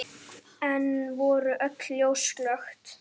Enn voru öll ljós slökkt.